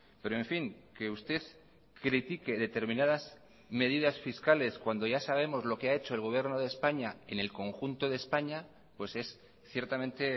pero en fin que usted critique determinadas medidas fiscales cuando ya sabemos lo que ha hecho el gobierno de españa en el conjunto de españa pues es ciertamente